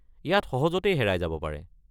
ইয়াত সহজতে হেৰাই যাব পাৰে।